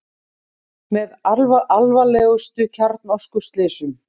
Með alvarlegustu kjarnorkuslysum